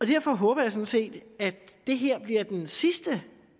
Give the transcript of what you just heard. derfor håber jeg sådan set at det her bliver den sidste